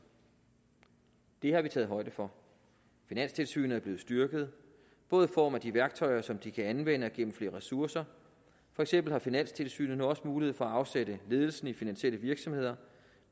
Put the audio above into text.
det har vi taget højde for finanstilsynet er blevet styrket både i form af de værktøjer som de kan anvende og gennem flere ressourcer for eksempel har finanstilsynet nu også mulighed for at afsætte ledelsen i finansielle virksomheder